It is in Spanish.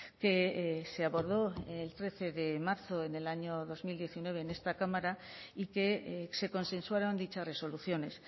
que se abordó el trece de marzo en el año dos mil diecinueve en esta cámara y que se consensuaron dichas resoluciones